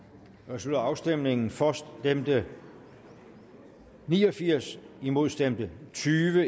slutter afstemningen for stemte ni og firs imod stemte tyve